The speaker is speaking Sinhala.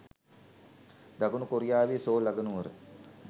දකුණු කොරියාවේ සෝල් අගනුවර